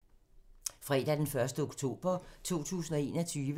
Fredag d. 1. oktober 2021